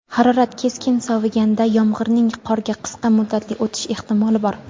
harorat keskin soviganda yomg‘irning qorga qisqa muddatli o‘tishi ehtimoli bor.